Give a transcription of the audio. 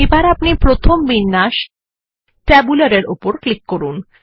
এখন আপনিপ্রথম বিন্যাস ট্যাবুলার এর উপর ক্লিক করুন